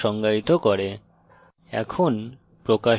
এবং methods নামক বিহেভিয়ার্সের সমূহ সংজ্ঞায়িত করে